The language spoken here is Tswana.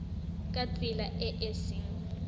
ka tsela e e seng